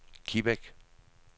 Kibæk